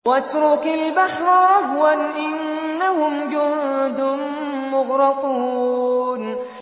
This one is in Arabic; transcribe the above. وَاتْرُكِ الْبَحْرَ رَهْوًا ۖ إِنَّهُمْ جُندٌ مُّغْرَقُونَ